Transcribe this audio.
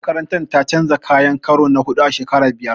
Makarantar ta canja kayan karo na huɗu a shekara biyar.